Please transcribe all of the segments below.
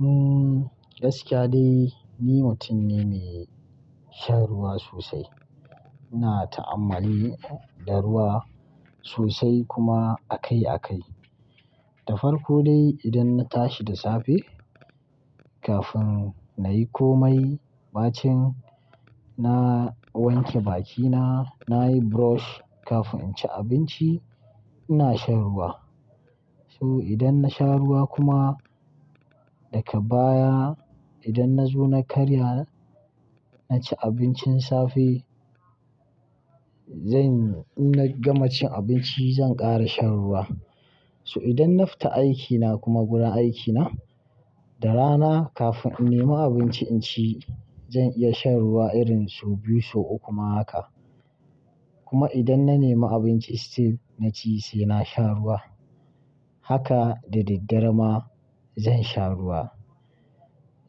Uhmm, gaskiya dai, ni mutum ne me, shan ruwa sosai. Ina, ta'ammali da ruwa, sosai kuma akai-akai. Da farko dai idan na tashi da safe, kafun na yi komai, bacin na wanke bakina, na yi brush, kafun in ci abinci, ina shan ruwa. So idan na sha ruwa kuma daka baya idan na zo na karya, na ci abincin safe, zanyi-- in na gama cin abinci zan ƙara shan ruwa. So idan na fita aikina kuma gurin aikina, da rana kafin in nema abinci in ci, zan iya shan ruwa irin so biyu, so uku ma haka. Kuma idan na nema abinci still na ci sai na sha ruwa. Haka, da daddare ma, zan sha ruwa.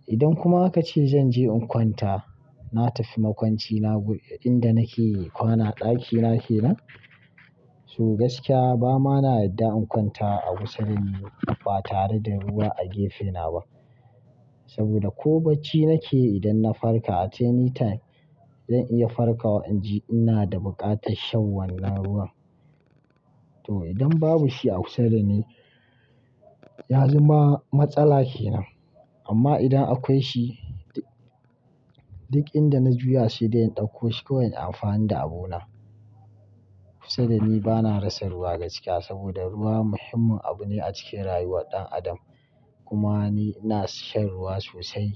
Idan kuma aka ce zan je in kwanta, na tafi makwancina gun inda nake kwana ɗakina kenan, so gaskiya ba ma na yadda in kwanta a kusa da ni, ba tare da ruwa a gefena ba. Saboda ko bacci nake yi idan na farka at any time, zan iya farkawa in ji ina da buƙatar shan wannan ruwan. To idan babu shi a kusa da ni, ya zama matsala kenan. Amma idan akwai shi, duk inda na juya se de in ɗauko shi kawai in amfani da abona. Kusa da ni bana rasa ruwa gaskiya, saboda ruwa muhimmin abu ne a cikin rayuwar ɗan adam. Kuma ni na shan ruwa sosai.